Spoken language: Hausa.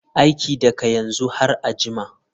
Aiki daga yanzu har a jima.